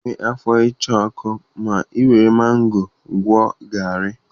Ị ga-enwe afọ ịcha ọkụ ma ị were mango gụọ garri.